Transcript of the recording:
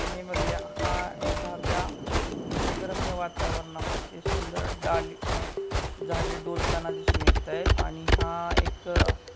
हा एखादया निसर्ग रम्य वातावरणामध्ये सुंदर डालिक झाडे डोलताना दिसून येत आहे आणि हा एक--